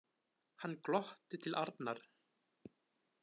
Hann glotti til Arnar.